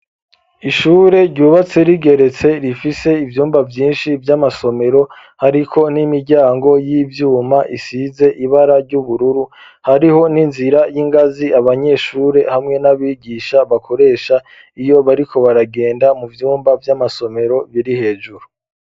Ishure ryubatse rigeretse, rifise ivyumba vyinshi vy'amasomero hariko n'imiryango y'ivyuma isize ibara ry'ubururu, hariho n'inzira y'ingazi, abanyeshure hamwe n'abigisha bakoresha iyo bariko baragenda mu vyumba vy'amasomero biri hejuru.